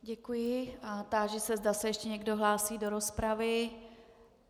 Děkuji a táži se, zda se ještě někdo hlásí do rozpravy.